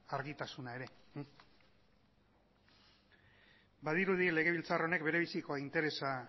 argitasuna ere badirudi legebiltzar honek bere biziko interesa